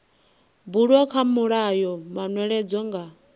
bulwa kha mulayo manweledzo nga